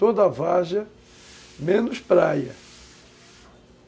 Toda várzea, menos praia.